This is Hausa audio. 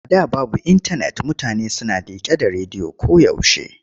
A da babu intanet mutane suna liƙe da rediyo koyaushe.